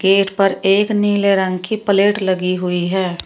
Gate पर एक नीले रंग की प्लेट लगी हुई है।